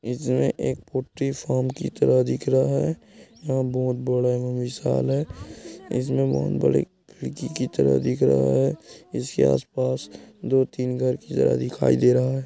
इसमें एक poultry farm की तरह दिख रहा है यह बहुत बड़ा विशाल है इसमें बहुत बड़ी खिड़की की तरह दिख रहा है इसके आस-पास दो-तीन घर दिखाई दे रहा है।